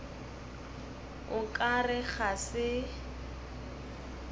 o ka re ga se